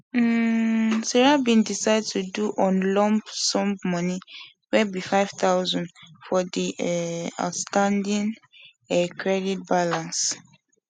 um sarah bin decide to do on lump sum money wey be 5000 for the um outstanding um credit balance balance